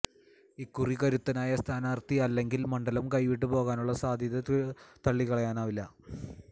ഇക്കുറി കരുത്തനായ സ്ഥാനാര്ത്ഥി അല്ലെങ്കില് മണ്ഡലം കൈവിട്ട് പോകാനുളള സാധ്യത തളളിക്കളയാനാവില്ല